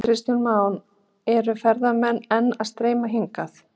Kristján Már: Eru ferðamenn enn að streyma hingað?